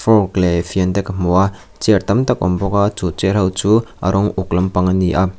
fork leh fian te ka hmu a chair tam tak a awm bawk a chu chair ho chu a rawng uk lampang a ni a.